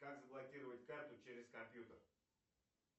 как заблокировать карту через компьютер